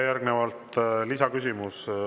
Järgnevalt lisaküsimus.